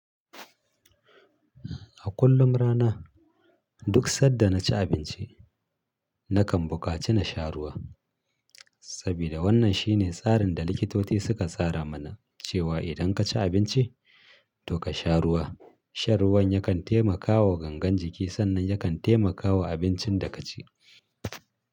A kullum rana duk sanda na ci abinci nakan bukaci na sha ruwa sabida wannan shine tsarin da likitoci suka tsara mana cewa idan ka ci abinci to ka sha ruwa. Shan ruwan yakan taimakawa gangan jiki sannan yakan taimakawa abincin da ka ci.